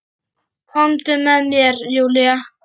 Komdu með mér Júlía.